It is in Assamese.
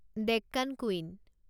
ডেক্কান কুইন